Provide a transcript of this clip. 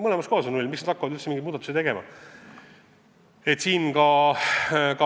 Mitmes riigis on null, miks peaks laevad hakkama lippu vahetama?